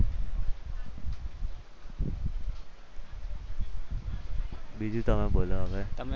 બીજું તમે બોલો હવે